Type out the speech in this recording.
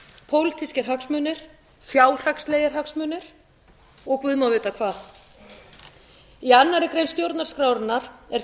pólitískir hagsmunir fjárhagslegir hagsmunir eða guð má vita hvað í annarri grein stjórnarskrárinnar er